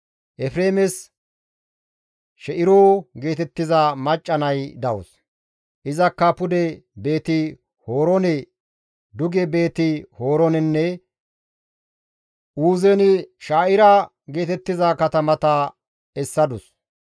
Efreemes She7iro geetettiza macca nay dawus; izakka pude Beeti-Horoone, duge Beeti-Horoonenne Uuzen-She7ira geetettiza katamata essadus.